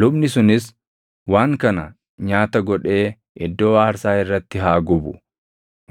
Lubni sunis waan kana nyaata godhee iddoo aarsaa irratti haa gubu;